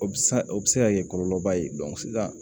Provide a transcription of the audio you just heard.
O bɛ se ka o bɛ se ka kɛ kɔlɔlɔ ba ye sisan